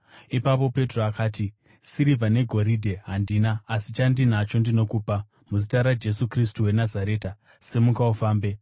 Ipapo Petro akati, “Sirivha negoridhe handina, asi chandinacho ndinokupa. Muzita raJesu Kristu weNazareta, simuka ufambe.”